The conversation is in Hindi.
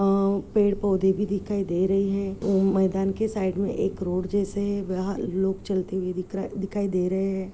अह पेड़ पौधे भी दिखाई दे रही है ओ मैदान के सामने एक रोड जैसे है वह लोग चलते हुए दिखाई-दिखाई दे रहे है।